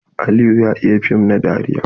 Aliyu ya iya fim na dariya.